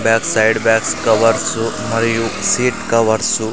back side bags covers మరియు seat covers --